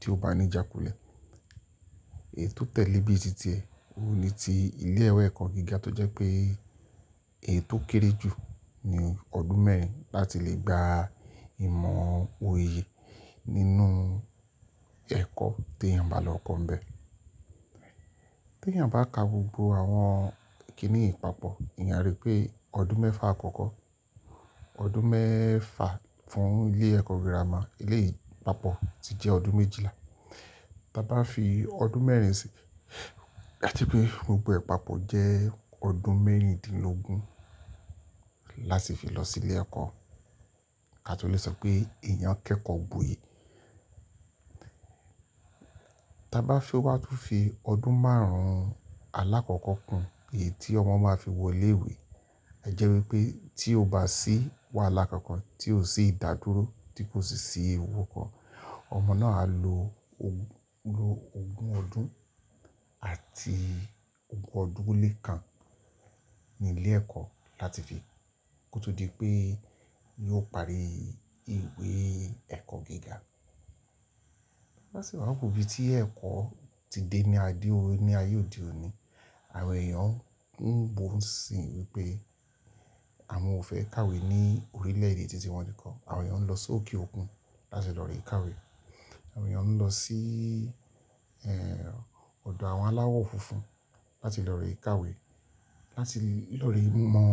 tí ó bá ní ìjákulẹ̀. Èyi tò tẹ̀lé bíi títí ẹ, ní ti ilé ìwé ẹ̀kọ́ gíga tó jẹ́ pé ètò kéré jù ni ọdún mẹ́rin láti lè gba ìmọ̀ oyè nínú ẹ̀kọ́ tí èèyàn bá lọ kọ́ ń bẹ. Tí èèyàn bá ka gbogbo àwọn kínni yiì papọ̀, eeyan a rí pé ọdún mẹ́fa àkọ́kọ́, ọdún mẹ́fa fún ilé ẹ̀kọ́ gírámà, éleyi papọ̀ ti jẹ́ ọdún méjìlá. Bá bá fi ọdún mẹ́rin sí, a je pé gbogbo e papọ̀ jẹ́ ọdún mẹ́rindínlógún láti fi lọ sí ilé ẹ̀kọ́. Ka tó lè sọ pé èèyàn kẹ́kọ̀ọ́ gboyè. Bá bá fi ó wá tó fi ọdún márùn-ún alákọ̀ọ́kọ́ kún èyí tí ọmọ máa fi wọ ilé ìwé, a jẹ́ wípé tí ó bá sì wàhala kankàn tí ò sí ìdádúró tí kò sì sí ìwúkọ́, ọmọ náà á lo ogún ọdún àti ogún ọdún ó lé kan ní ilé ẹ̀kọ́ láti fi kó tó di pé yóò parí ìwé ẹ̀kọ́ gíga. Bá sì wà wo ibi tí ẹ̀kọ́ ti dé ní ayé òde òní, àwọn èèyàn ń bo ń sìn wípé àwọn ò fẹ́ kàwé ní orílẹ̀ èdè tí ti wọn nikan. Àwọn èèyàn ń lọ sókè òkun láti lọ re kàwé. Àwọn èèyàn ń lọ sí, eeh, ọ̀dọ̀ àwọn aláwọ̀ funfun láti lọ re kàwé, láti lọ rí ìmọ̀,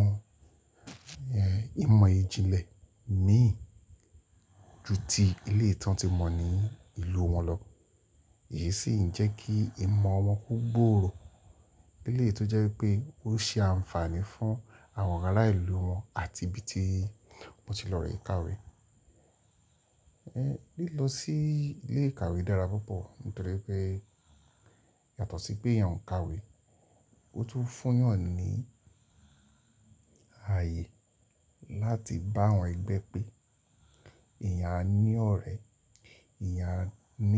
eeh, ìmọ̀ ìjìnlẹ̀ mì ju ti éleyi tán tí mọ́ ní ìlú wọn lọ. Èyí sì ń jẹ́ kí ìmọ̀ wọn ko gbòòrò. Lélèyi tó jẹ́ wípé ó ṣe àǹfààní fún àwọn ará ìlú wọn àti ibí tí wọn ti lọ re kàwé. Ehn, lílọ sí ilé ìkàwé dára púpọ̀ nítorí pé yàtọ̀ sí pé èèyàn ń kàwé, ó tún fún èèyàn ní ààyè láti bá àwọn ẹgbẹ́ pé ẹyan a ní ọ̀rẹ́, eyan a ní.